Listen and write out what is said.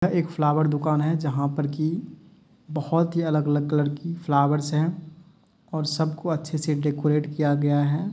एक फ्लावर दुकान हे जहाँ पर की बहोत ही अलग अलग कलर की फ्लावर्स है और सब को अच्छे से डेडेकोरेट किया गया है ।